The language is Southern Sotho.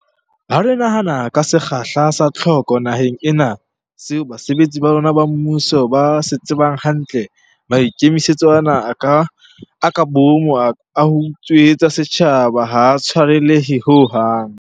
Ha re nahana ka sekgahla sa tlhoko naheng ena, seo basebetsi ba rona ba mmuso ba se tsebang hantle, maikemisetso ana a ka boomo a ho utswetsa setjhaba ha a tshwarelehe ho hang.